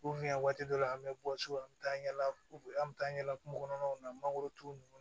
waati dɔ la an bɛ bɔ so an bɛ taa yala an bɛ taa yala kungo kɔnɔnaw na mangoro turu ninnu